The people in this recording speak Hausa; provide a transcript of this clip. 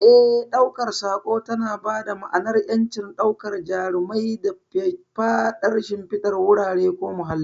Eh, ɗaukar sako tana ba dama'anar ƴanci, daukar jarumai da faffadar shimfidar wurare ko muhalli.